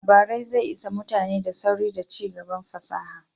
Labarai zai isa mutane da sauri da cigaban fasaha